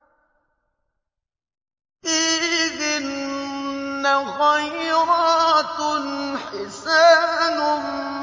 فِيهِنَّ خَيْرَاتٌ حِسَانٌ